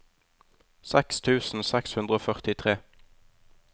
seks tusen seks hundre og førtitre